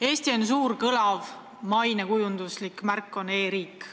Eesti suur ja kõlav mainekujunduslik märk on e-riik.